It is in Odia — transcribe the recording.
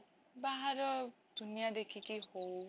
ବାହାର ଦୁନିଆ ଦେଖିକି ହଉ,